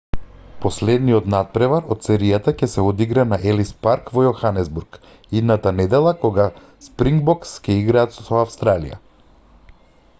последниот натпревар од серијата ќе се одигра на елис парк во јоханесбург идната недела кога спрингбокс ќе играат со австралија